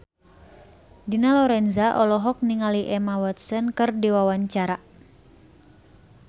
Dina Lorenza olohok ningali Emma Watson keur diwawancara